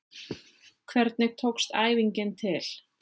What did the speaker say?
Hvernig tókst æfingin til?